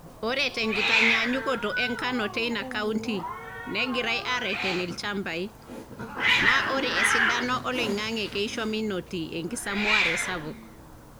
Ore te nkitaanyanyukoto e nkano teina kaunti, negirai aareten ilchambai , naa ore esidano oling`ang`e keisho menoti enkisamuare sapuk.